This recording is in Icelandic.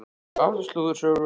Áttu slúðursögu?